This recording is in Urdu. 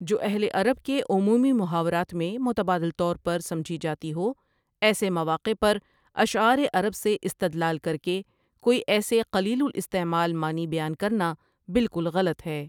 جواہل عرب کے عمومی محاورات میں متبادر طورپر سمجھی جاتی ہو ایسے مواقع پر اشعا ر عرب سےاستدلال کرکے کوئی ایسے قلیل الاستعمال معنی بیان کرنا بالکل غلط ہے ۔